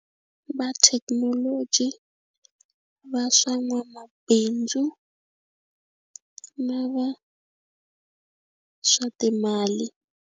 Va thekinoloji va swa n'wamabindzu na va swa timali.